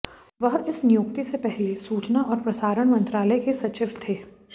वह इस नियुक्ति से पहले सूचना और प्रसारण मंत्रालय के सचिव थे